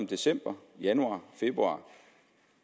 december januar og februar